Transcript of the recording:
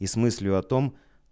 и с мыслью о том